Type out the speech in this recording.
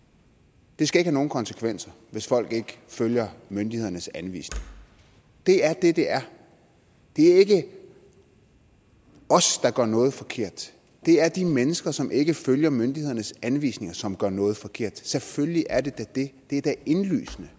det skal ikke have nogen konsekvenser hvis folk ikke følger myndighedernes anvisninger det er det det er det er ikke os der gør noget forkert det er de mennesker som ikke følger myndighedernes anvisninger som gør noget forkert selvfølgelig er det da det det er da indlysende